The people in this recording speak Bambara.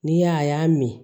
N'i y'a ye a y'a min